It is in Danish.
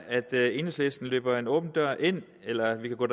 at enhedslisten her løber en åben dør ind eller vi kan gå